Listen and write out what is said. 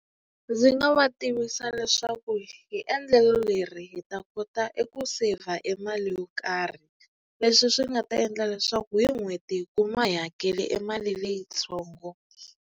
Ndzi nga va tivisa leswaku hi endlelo leri hi ta kota eku saver mali yo karhi leswi swi nga ta endla leswaku hi n'hweti hi kuma hi hakeli e mali leyitsongo.